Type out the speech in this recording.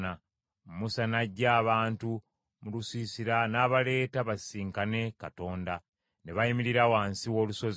Musa n’aggya abantu mu lusiisira n’abaleeta basisinkane Katonda; ne bayimirira wansi w’olusozi.